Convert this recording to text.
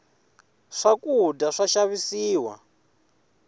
swakudya swa xavisiwa